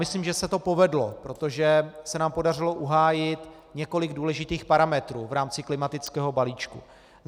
Myslím, že se to povedlo, protože se nám podařilo uhájit několik důležitých parametrů v rámci klimatického balíčku.